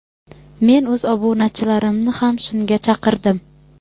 men o‘z obunachilarimni ham shunga chaqirdim.